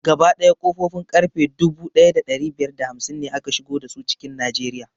Gaba ɗaya ƙofofin ƙarfe dubu ɗaya da ɗari biyar da hamsin ne aka shigo dasu cikin najeriya